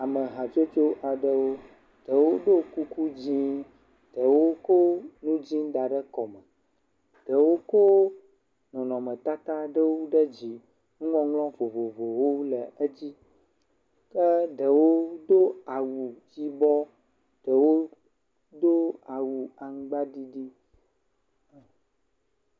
Ame hatsotso aɖewo. Ɖewo ɖo kuku dzi, ɖewo ko nu dzi da ɖe kɔme. Ɖewo ko nɔnɔmetata aɖewo ɖe dzi nuŋɔŋlɔ vovovowo le edzi ke ɖewo do awu yibɔ, ɖewo do awu aŋgba ɖiɖi.